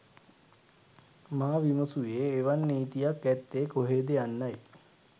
මා විමසූයේ එවන් නීතියක් ඇත්තේ කොහේද යන්නයි